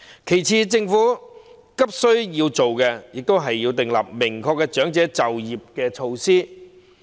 其次，政府必須盡快訂立明確的長者再就業措施。